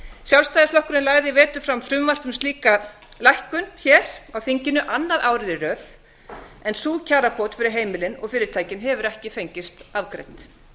sjálfstæðisflokkurinn lagði í vetur fram frumvarp um slíka lækkun hér á þinginu annað árið í röð en sú kjarabót fyrir heimilin og fyrirtækin hefur ekki fengist afgreidd